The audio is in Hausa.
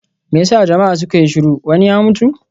Me ya sa jama'a suka yi shiru, wani ya mutu?